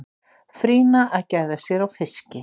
frýna að gæða sér á fiski